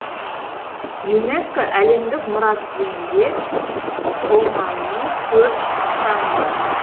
юнеско әлемдік мұра тізімінде оманның төрт нысаны бар